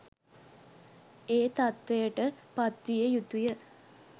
ඒ තත්ත්වයට පත්විය යුතුය.